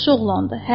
Yaxşı oğlandır.